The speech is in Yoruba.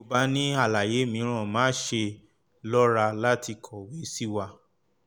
bí o bá ní àlàyé mìíràn má ṣe lọ́ra láti kọ̀wé sí wa